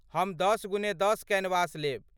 हम दश गुने दश कैनवस लेब।